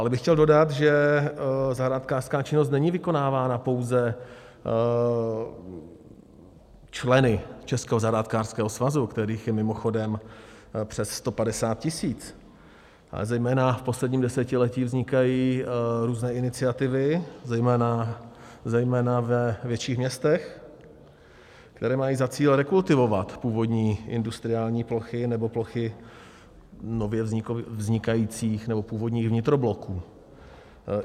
Dále bych chtěl dodat, že zahrádkářská činnost není vykonávána pouze členy Českého zahrádkářského svazu, kterých je mimochodem přes 150 tisíc, ale zejména v posledním desetiletí vznikají různé iniciativy, zejména ve větších městech, které mají za cíl rekultivovat původní industriální plochy nebo plochy nově vznikajících nebo původních vnitrobloků.